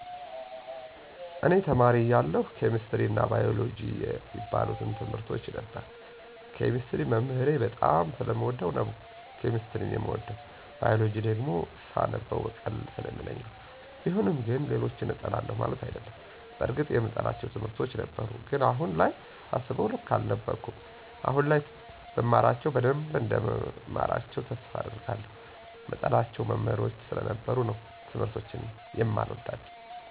እኔ ተማሪ እያለሁ ኬሚስትሪ አና ባይወሎጀጂ የሚባሉትን ትምርቶች ነበር። ኬሚስትሪን መምህሬን በጣም ስለምወደው ነው ኬሚስትሪን የምወደው። ባይወሎጂን ግን ስነበው ቀለል ስለሚለኝ ነው። ቢሆንም ግን ሌሎችን እጠላለሁ ማለት አይደለም። በርግጥ የምጠላቸው ትምህርቶች ነበሩ። ግን አሁን ላይ ሳስበው ልክ አልነበርኩም። አሁን ላይ ብማራቸው በደንብ እንደምማራቸው ተስፋ አደርጋለሁ። ምጠላቸው መሞህሮች ስለነበሩ ነው ትምርቶችን የማልወዳቸው።